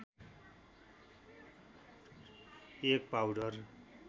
एक पाउडर